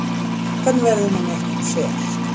Hvernig verður manni ekki um sel?